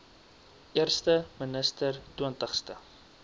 eerste minister twintigste